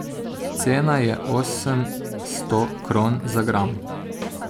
Cena je osemsto kron za gram.